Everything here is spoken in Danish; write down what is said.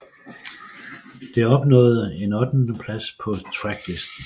Det opnåede en ottendeplads på Tracklisten